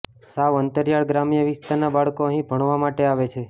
સાવ અંતરિયાળ ગ્રામ્ય વિસ્તારના બાળકો અહીં ભણવા માટે આવે છે